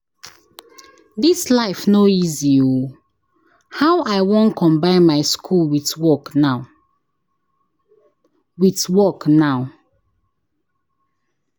Dis life no easy o! How I wan combine my school with work now? with work now?